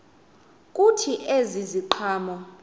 kuthi ezi ziqhamo